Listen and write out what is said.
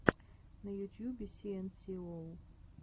на ютьюбе си эн си оу